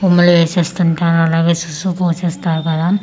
ఉమ్ములు ఏసేస్తుంటారు అలాగే సుసు పోసేస్తారు కదా అలా కాకు--